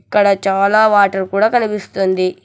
ఇక్కడ చాలా వాటర్ కూడా కనిపిస్తుంది.